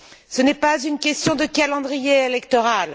Ce n'est pas une question de calendrier électoral.